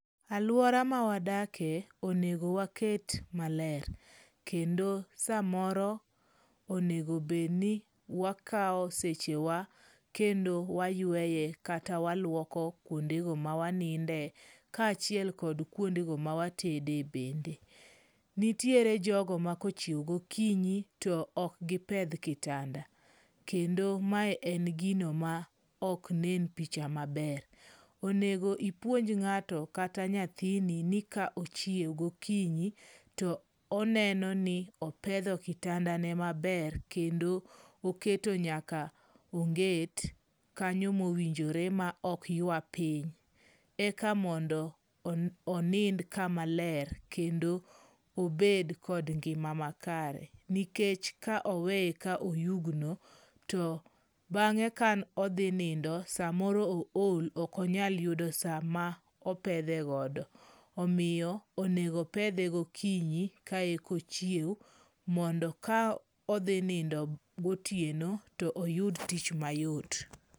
Aluora mawadakie onego waket maler. Kendo samoro onego bed ni wakao sechewa, wayueye kata waluoko kuondego mawaninde kaachiel kod kuondego mawabete. Nitiere jogo ma kochiew gokinyi to ok gipedh kitanda. Kendo mae en gino maok nen picha maber. Onego ipuonj ng'ato kata nyathini ni ka ochiew gokinyi to oneno ni opedho kitanda ne maber kendo oketo nyaka onget kanyo mowinjore maok ywa piny. Eka mondo onind kamaler kendo obed kod ngima makare. Nikech ka oweye ka oyugno to bang'e ka odhi nindo to samoro ool ok onyal yudo saa mopedhe godo. Omiyo onego opedhe gokinyi ka eka ochiew mondo ka odhi nindo gotieno to oyud tich mayot.